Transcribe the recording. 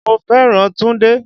Mo fẹ́ràn Túndé.